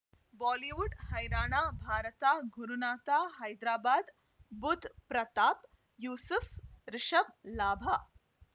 Bollywood ಹೈರಾಣ ಭಾರತ ಗುರುನಾಥ ಹೈದರಾಬಾದ್ ಬುಧ್ ಪ್ರತಾಪ್ ಯೂಸುಫ್ ರಿಷಬ್ ಲಾಭ